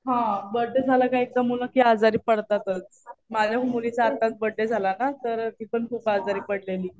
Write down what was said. हा. बर्थडे झाला कि एकदा मुलं आजारी पडतातच. माझ्या मुलीचा आताच बर्थडे झाला ना तर ती पण खूप आजारी पडलेली.